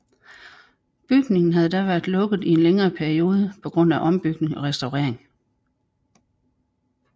Bygningen havde da været lukket i en længere periode på grund af ombygning og restaurering